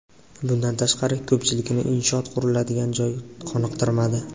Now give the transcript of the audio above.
Bundan tashqari, ko‘pchilikni inshoot quriladigan joy qoniqtirmadi.